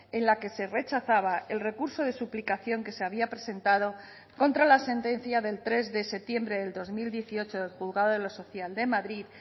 en la que se rechazaba el recurso de suplicación que se había presentado contra la sentencia del tres de septiembre del dos mil dieciocho del juzgado de lo social de madrid